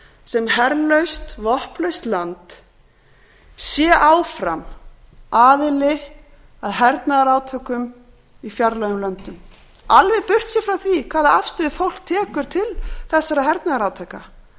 sem herlaust vopnlaust land sé áfram aðili að hernaðarátökum í fjarlægum löndum alveg burtséð frá því hvaða afstöðu fólk tekur til þessara hernaðarátaka